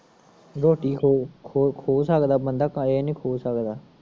ਰੋਟੀ ਖੋ ਸਕਦਾ ਬੰਦਾ ਪਰ ਏ ਨੀ ਖੋ ਸਕਦਾ